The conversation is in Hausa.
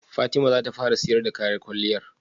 Fatima zata fara siyar da kayan kwalliyar?